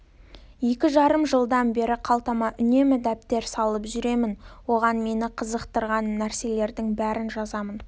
екі жарым жылдан бері қалтама үнемі дәптер салып жүремін оған мені қызықтырған нәрселердің бәрін жазамын